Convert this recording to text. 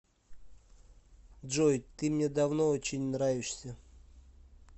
джой ты мне давно очень нравишься